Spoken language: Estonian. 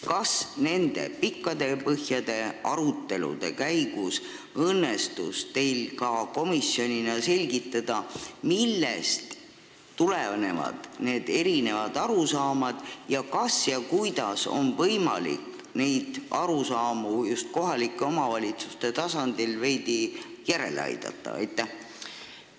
Kas nende pikkade ja põhjalike arutelude käigus õnnestus teil komisjonis välja selgitada, millest need erinevad arusaamad tulenevad ja kuidas oleks võimalik kohalikke omavalitsusi veidi järele aidata, et need arusaamad ühtlustuksid?